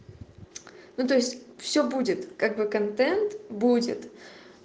ну то есть все будет как бы контент будет